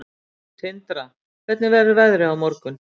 Tindra, hvernig verður veðrið á morgun?